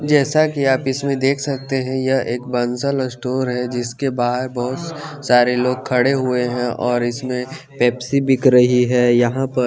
जेसा की आप इसमे देख सकते है ये एक बंसल स्टोर है जिसके बहर बहोत सारे लोग खडे हुए है और इसमे पेप्सी बिक रही है यहाँ पर --